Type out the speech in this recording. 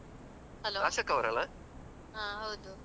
ಆ ಹೌದು.